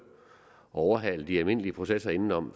at overhale de almindelige processer indenom